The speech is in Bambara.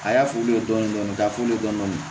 A y'a fu ye dɔɔni dɔɔni ka f'u ye dɔɔni